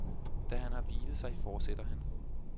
Da han har hvilet sig fortsætter han.